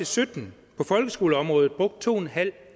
sytten på folkeskoleområdet brugt to